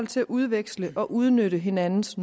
til at udveksle og udnytte hinandens